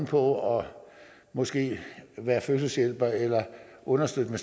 for måske at være fødselshjælper eller understøtte